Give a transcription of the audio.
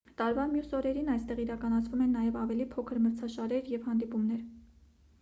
տարվա մյուս օրերին այստեղ իրականացվում են նաև ավելի փոքր մրցաշարեր և հանդիպումներ